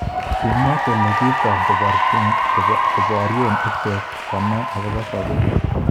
Kimwa kole kiotok koborye icheket konai akobo sabet.